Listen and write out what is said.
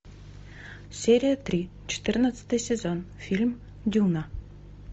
серия три четырнадцатый сезон фильм дюна